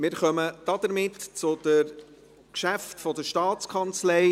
Somit kommen wir zu den Geschäften der STA.